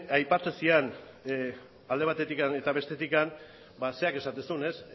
aipatzen zidan alde batetik eta bestetik zerak esaten zuen ez